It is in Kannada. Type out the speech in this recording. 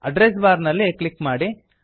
ಅಡ್ರೆಸ್ ಬಾರ್ ನಲ್ಲಿ ಕ್ಲಿಕ್ ಮಾಡಿ